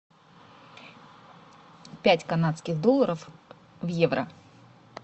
пять канадских долларов в евро